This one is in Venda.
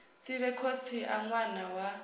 sivhe khotsi a ṅwana wa